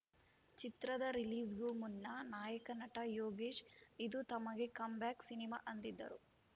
ಚಿತ್ರದ ರಿಲೀಸ್‌ಗೂ ಮುನ್ನ ನಾಯಕ ನಟ ಯೋಗೇಶ್‌ ಇದು ತಮಗೆ ಕಮ್‌ ಬ್ಯಾಕ್‌ ಸಿನಿಮಾ ಅಂದಿದ್ದರು